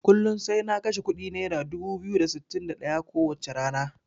Kullun sai na kashe kuɗi naira dubu biyu da sittin da ɗaya ko wacce rana.